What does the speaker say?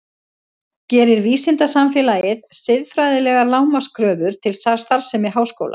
Gerir vísindasamfélagið siðfræðilegar lágmarkskröfur til starfsemi háskóla?